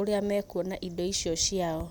ũrĩa mekuona indo icio ciao.